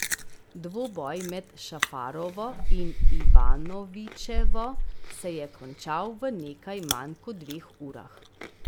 Dvoboj med Šafarovo in Ivanovićevo se je končal v nekaj manj kot dveh urah.